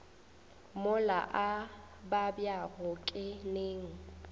mola a babjago ke neng